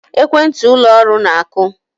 Ekwentị ụlọ ọrụ na-akụ